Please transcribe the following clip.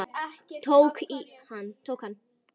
Togi hann.